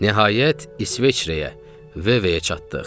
Nəhayət, İsveçrəyə, Veveyə çatdıq.